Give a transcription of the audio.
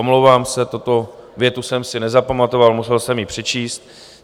Omlouvám se, tuto větu jsem si nezapamatoval, musel jsem ji přečíst.